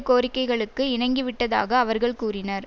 கோரிக்கைகளுக்கு இணங்கிவிட்டதாக அவர்கள் கூறினர்